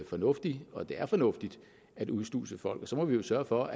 fornuftig og at det er fornuftigt at udsluse folk så må vi jo sørge for